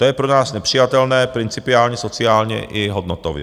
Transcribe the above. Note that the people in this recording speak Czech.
To je pro nás nepřijatelné principiálně, sociálně i hodnotově.